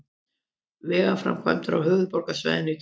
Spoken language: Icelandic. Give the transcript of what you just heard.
Vegaframkvæmdir á höfuðborgarsvæðinu í dag